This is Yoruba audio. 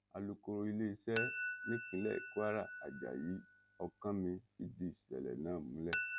alukoro iléeṣẹ́ nípínlẹ̀ kwara àjàyí ọkánmi fìdí ìṣẹ̀lẹ̀ náà múlẹ̀